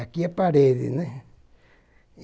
Aqui é a parede, né?